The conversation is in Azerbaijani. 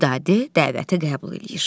Vidadi dəvəti qəbul eləyir.